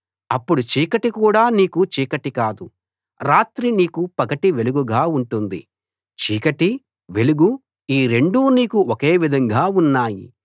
అప్పుడు చీకటి కూడా నీకు చీకటి కాదు రాత్రి నీకు పగటి వెలుగుగా ఉంటుంది చీకటీ వెలుగూ ఈ రెండూ నీకు ఒకే విధంగా ఉన్నాయి